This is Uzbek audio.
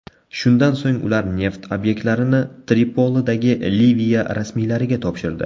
Shundan so‘ng ular neft obyektlarini Tripolidagi Liviya rasmiylariga topshirdi.